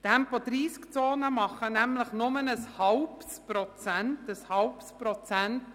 Tempo-30-Zonen machen nämlich nur ein halbes Prozent – ein halbes Prozent!